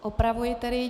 Opravuji tedy.